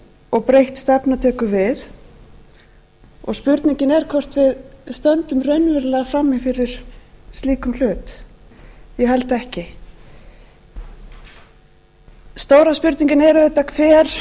og breytt stefna tekur við og spurningin er hvort við stöndum raunverulega frammi fyrir slíkum hlut ég held ekki stóra spurningin er auðvitað hver